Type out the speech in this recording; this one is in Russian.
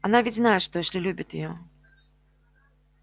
она ведь знает что эшли любит её